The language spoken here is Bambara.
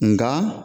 Nka